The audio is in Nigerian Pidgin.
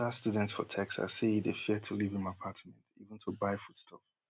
anoda student for texas say e dey fear to leave im apartment even to buy food stuff